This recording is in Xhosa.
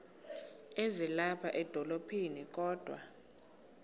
ezilapha edolophini kodwa